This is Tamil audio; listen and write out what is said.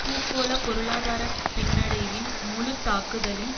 பூகோள பொருளாதார பின்னடைவின் முழு தாக்குதலின்